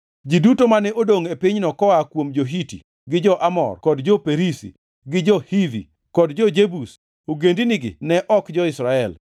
Ji duto mane odongʼ e pinyno koa kuom jo-Hiti, gi jo-Amor kod jo-Perizi, gi jo-Hivi kod jo-Jebus (ogendinigi ne ok jo-Israel),